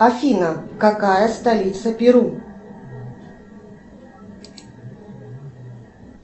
афина какая столица перу